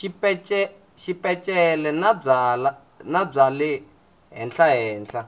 xipeceli na bya le henhlahenhla